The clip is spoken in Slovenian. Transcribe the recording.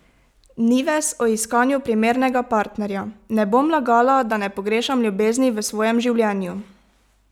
Nives o iskanju primernega partnerja: "Ne bom lagala, da ne pogrešam ljubezni v svojem življenju.